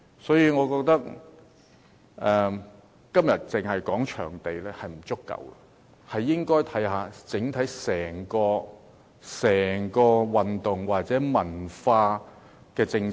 所以，我覺得今天只討論場地並不足夠，還需要全面檢討整體的體育及文化政策。